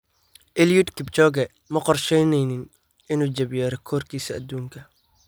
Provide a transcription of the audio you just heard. Eliud Kipchoge ma qorsheyneynin inuu jabiyo rikoorkiisa adduunka.